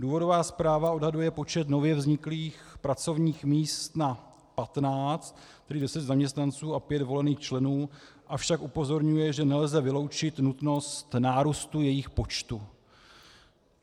Důvodová zpráva odhaduje počet nově vzniklých pracovních míst na 15, prý 10 zaměstnanců a 5 volených členů, avšak upozorňuje, že nelze vyloučit nutnost nárůstu jejich počtu.